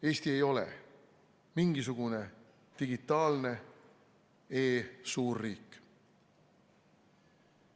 Eesti ei ole mingisugune digitaalne e-suurriik.